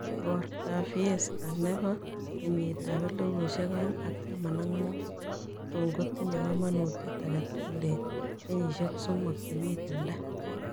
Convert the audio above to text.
Igoortap fiesta ne po kenyitap elifusiek oeng' ak taman ak muut kotun tinye kamanutiet agetugul eng' kenyisyek smoking che miten taa.